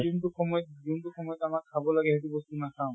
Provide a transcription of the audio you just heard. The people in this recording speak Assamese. যোনটো সময়ত যোনটো সময়ত আমাক খাব লাগে সেইটো বস্তু নাখাওঁ।